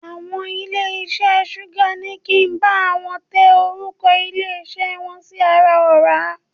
Àwọn ilé iṣẹ́ Súgà ní kí á bá àwọn tẹ orúkọ ilé iṣẹ́ wọn sí ara ọ̀rá.